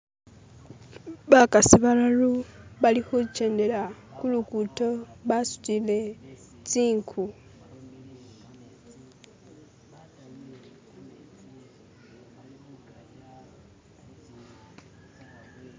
Bakasi balalu bali khuchendela kulugudo basutile tsinku.